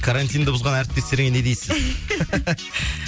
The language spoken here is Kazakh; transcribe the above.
карантинді бұзған әріптестеріңе не дейсіз